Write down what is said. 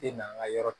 E n'an ka yɔrɔ